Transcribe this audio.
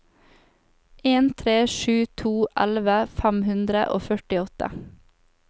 en tre sju to elleve fem hundre og førtiåtte